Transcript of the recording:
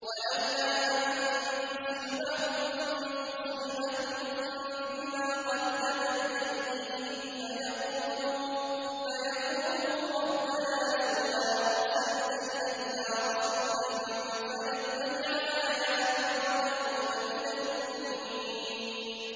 وَلَوْلَا أَن تُصِيبَهُم مُّصِيبَةٌ بِمَا قَدَّمَتْ أَيْدِيهِمْ فَيَقُولُوا رَبَّنَا لَوْلَا أَرْسَلْتَ إِلَيْنَا رَسُولًا فَنَتَّبِعَ آيَاتِكَ وَنَكُونَ مِنَ الْمُؤْمِنِينَ